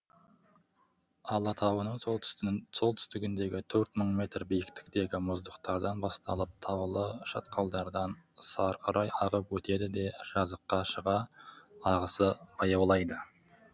алатауының солтүстігіндегі төрт мың метр биіктіктегі мұздықтардан басталып таулы шатқалдардан сарқырай ағып өтеді де жазыққа шыға ағысы баяулайды